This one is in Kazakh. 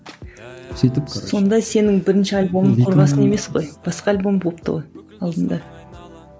сөйтіп короче сонда сенің бірінші альбомың қорғасын емес қой басқа альбом болыпты ғой алдында